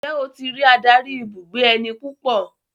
Ǹjẹ́ o ti ri adarí ibùgbé ẹni púpọ̀?